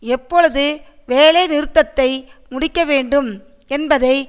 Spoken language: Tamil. எப்பொழுது வேலைநிறுத்தத்தை முடிக்க வேண்டும் என்பதை